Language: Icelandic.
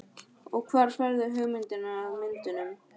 Og hvar færðu hugmyndirnar að myndunum?